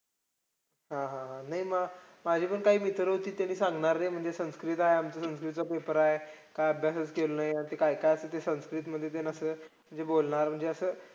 हा हा. नाही मग मा माझे पण काही मित्र होते त्यांनी सांगणार नाही संस्कृत आहे. म्हणजे संस्कृतचा paper आहे का अभ्यासचं केलं नाही. अन ते काय काय असतंय ते संस्कृतमध्ये. म्हणजे त्याला जे बोलणार म्हणजे असं